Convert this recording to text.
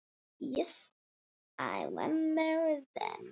Já, ég man eftir þeim.